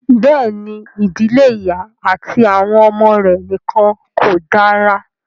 Bẹ́ẹ̀ ni, ìdílé ìyá àti àwọn ọmọ rẹ̀ nìkan kò dára.